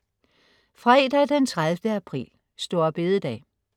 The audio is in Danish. Fredag den 30. april. Store Bededag